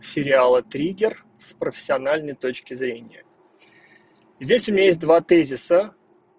сериала триггер с профессиональной точки зрения здесь у меня есть два тезиса